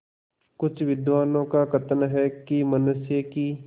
कुछ विद्वानों का कथन है कि मनुष्य की